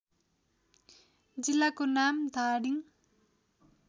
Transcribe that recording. जिल्लाको नाम धादिङ